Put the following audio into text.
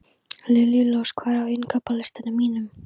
Liljurós, hvað er á innkaupalistanum mínum?